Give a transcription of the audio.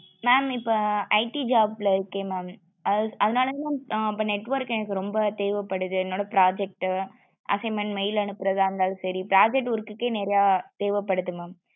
mam இப்போ IT job ல இருக்கே mam அதுனாலதா mam ஆ இப்போ network எனக்கு ரொம்ப தேவபடுது என்னோட project, assignment, mail அனுப்புறது இருந்தாலும் சேரி project work கே நெறைய தேவபடுது mam